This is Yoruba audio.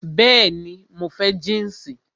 Bẹẹni, mo fẹ́ jínsì